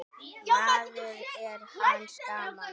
maður er manns gaman.